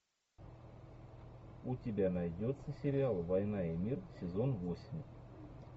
у тебя найдется сериал война и мир сезон восемь